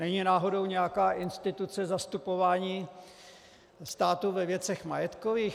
Není náhodou nějaká instituce zastupování státu ve věcech majetkových?